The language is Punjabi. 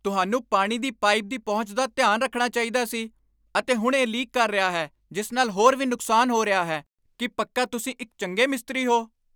ਤੁਹਾਨੂੰ ਪਾਣੀ ਦੀ ਪਾਈਪ ਦੀ ਪਹੁੰਚ ਦਾ ਧਿਆਨ ਰੱਖਣਾ ਚਾਹੀਦਾ ਸੀ, ਅਤੇ ਹੁਣ ਇਹ ਲੀਕ ਕਰ ਰਿਹਾ ਹੈ ਜਿਸ ਨਾਲ ਹੋਰ ਵੀ ਨੁਕਸਾਨ ਹੋ ਰਿਹਾ ਹੈ! ਕੀ ਪੱਕਾ ਤੁਸੀਂ ਇੱਕ ਚੰਗੇ ਮਿਸਤਰੀ ਹੋ?